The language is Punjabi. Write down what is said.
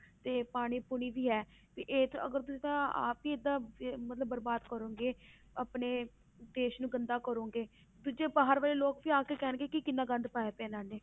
ਤੇ ਪਾਣੀ ਪੂਣੀ ਵੀ ਹੈ ਵੀ ਇਹ ਤੇ ਅਗਰ ਤੁਸੀਂ ਤਾਂ ਆਪ ਹੀ ਏਦਾਂ ਵੀ ਮਤਲਬ ਬਰਬਾਦ ਕਰੋਂਗੇ ਆਪਣੇ ਦੇਸ ਨੂੰ ਗੰਦਾ ਕਰੋਂਗੇ ਦੂਜੇ ਬਾਹਰ ਵਾਲੇ ਲੋਕ ਵੀ ਆ ਕੇ ਕਹਿਣਗੇ ਕਿ ਕਿੰਨਾ ਗੰਦ ਪਾਇਆ ਪਿਆ ਇਹਨਾਂ ਨੇ